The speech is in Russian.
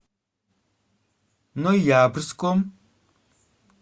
ноябрьском